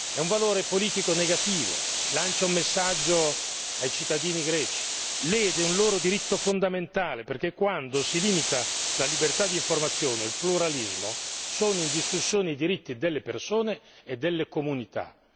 È un valore politico negativo, lancia un messaggio ai cittadini greci, lede un loro diritto fondamentale perché quando si limita la libertà di informazione, il pluralismo, sono in discussione i diritti delle persone e delle comunità.